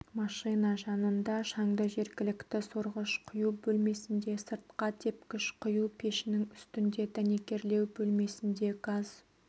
машина жанында шаңды жергілікті сорғыштар құю бөлмесінде сыртқа тепкіш құю пешінің үстінде дәнекерлеу бөлмесінде газ